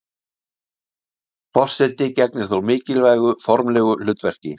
Forseti gegnir þó mikilvægu formlegu hlutverki.